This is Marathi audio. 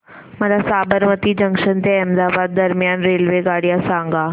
मला साबरमती जंक्शन ते अहमदाबाद दरम्यान रेल्वेगाड्या सांगा